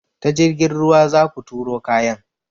Ta jirgin ruwa zaku turo kayan.